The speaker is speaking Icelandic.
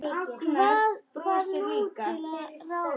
Hvað var nú til ráða?